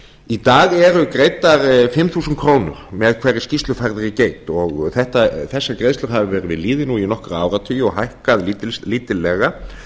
í dag eru greiddar fimm þúsund krónur með hverri skýrslufærðri geit þessar greiðslur hafa verið við lýði nú í nokkra áratugi og hækkað lítillega